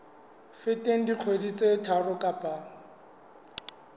feteng dikgwedi tse tharo kapa